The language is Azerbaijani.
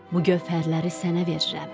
Bu gövhərləri sənə verirəm.